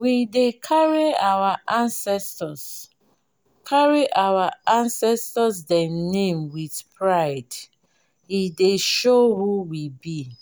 we dey carry our ancestor carry our ancestor dem name wit pride e dey show who we be.